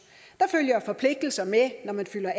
der følger forpligtelser med når man fylder